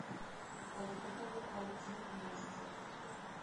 поехали айти мастер